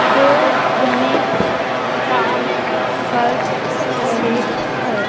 दो जने काम कर रहे हैं।